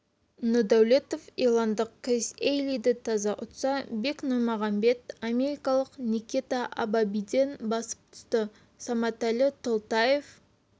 нұрдәулетов ирландық крис ейлиді таза ұтса бек нұрмағамбет америкалық никита абабиден басып түсті саматәлі толтаев